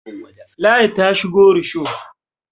ladi ta shigo rusho